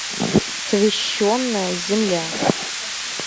священная земля